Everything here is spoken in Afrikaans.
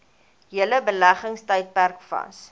hele beleggingstydperk vas